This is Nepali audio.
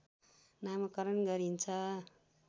नामकरण गरिन्छ